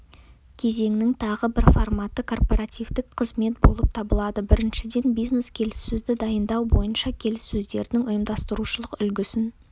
кезеңнің тағы бір форматы корпоративтік қызмет болып табылады біріншіден бизнес-келіссөзді дайындау бойынша келіссөздердің ұйымдастырушылық үлгісін